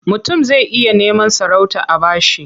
Mutum zai iya neman sarauta a ba shi.